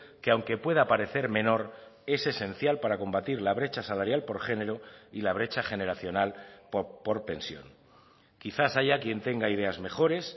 que aunque pueda parecer menor es esencial para combatir la brecha salarial por género y la brecha generacional por pensión quizás haya quien tenga ideas mejores